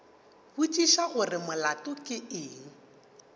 botšiša gore molato ke eng